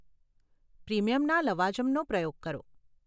પ્રીમિયમના લવાજમનો પ્રયોગ કરો.